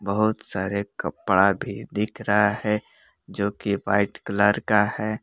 बहुत सारे कपड़ा भी दिख रहा है जो कि व्हाइट कलर का है।